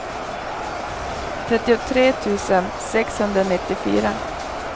trettiotre tusen sexhundranittiofyra